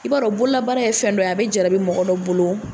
I b'a dɔn bololabaara ye fɛn dɔ ye a bɛ jarabi mɔgɔ dɔ bolo.